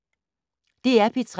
DR P3